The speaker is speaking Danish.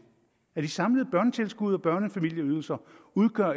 at de samlede børnetilskud og børnefamilieydelser